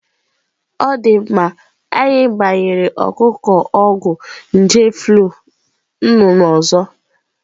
Ọ dị mma, anyị gbanyere ọkụkọ ọgwụ nje flu nnụnụ ọzọ.